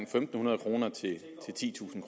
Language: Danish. fem hundrede kroner til titusind